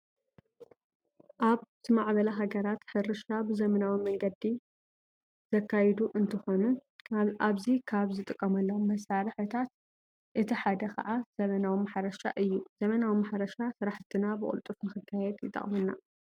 ኣብ ዝማዕበላ ሀገራት ሕርሻ ብዘበናዊ መንገዲ ዘካየዱ እንትኾኑ ኣብዚ ካብ ዝጥቀምሎም መሳርሕታት እቲ ሓደ ከዓ ዘበናዊ ማሕረሻ እዩ። ዘበናዊ ማሕረሻ ስራሕትና ብቅልጥፍ ንክነካይድ ይጠቅመና።